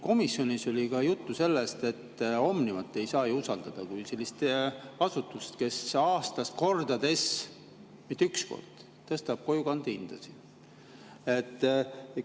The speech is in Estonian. Komisjonis oli juttu sellest, et Omnivat kui sellist asutust, kes aastas mitu korda, mitte üks kord, tõstab kojukande hinda, ei saa ju usaldada.